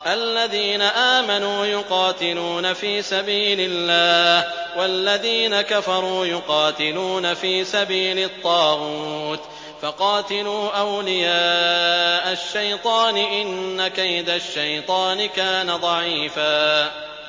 الَّذِينَ آمَنُوا يُقَاتِلُونَ فِي سَبِيلِ اللَّهِ ۖ وَالَّذِينَ كَفَرُوا يُقَاتِلُونَ فِي سَبِيلِ الطَّاغُوتِ فَقَاتِلُوا أَوْلِيَاءَ الشَّيْطَانِ ۖ إِنَّ كَيْدَ الشَّيْطَانِ كَانَ ضَعِيفًا